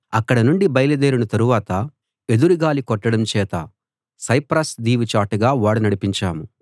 అక్కడ నుండి బయలుదేరిన తరువాత ఎదురుగాలి కొట్టడం చేత సైప్రస్ దీవి చాటుగా ఓడ నడిపించాము